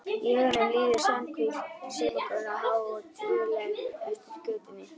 Í huganum líður Svanhvít saumakona há og tíguleg eftir götunni.